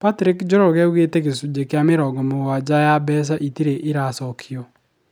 Patrick Njoroge aũgĩte gĩcũji kĩa mĩrongo mũgwaja ya mbeca ĩtiri iracokua